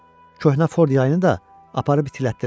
Köhnə Ford yayını da aparıb itilətdirərəm.